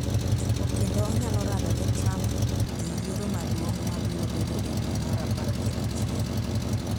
kendo onyalo rado gi Trump e yiero maduong’ ma biro bedo e dwe mar apar gi achiel.